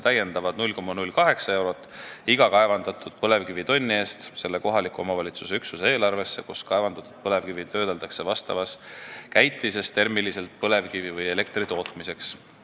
Täiendavad 0,08 eurot iga kaevandatud põlevkivitonni eest suunatakse selle kohaliku omavalitsuse üksuse eelarvesse, kus kaevandatud põlevkivi vastavas käitises termiliselt töödeldakse põlevkiviõli või elektri tootmiseks.